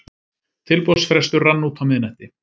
Tilboðsfrestur rann út á miðnætti